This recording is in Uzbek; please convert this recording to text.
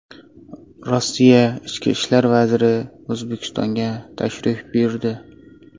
Rossiya ichki ishlar vaziri O‘zbekistonga tashrif buyurdi.